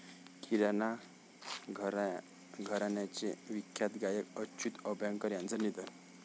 किराणा घराण्याचे विख्यात गायक अच्युत अभ्यंकर यांचं निधन